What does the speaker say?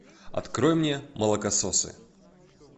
открой мне молокососы